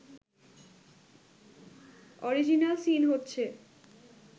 original scene হচ্ছে